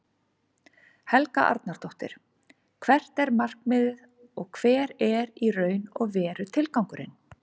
Helga Arnardóttir: Hvert er markmiðið og hver er í raun og veru tilgangurinn?